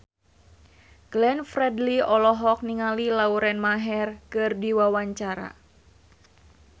Glenn Fredly olohok ningali Lauren Maher keur diwawancara